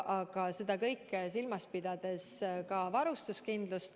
Aga seda kõike tuleb teha, pidadades silmas ka varustuskindlust.